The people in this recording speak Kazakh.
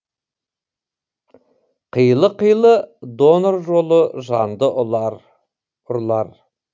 қилы қилы донор жолы жанды ұрлар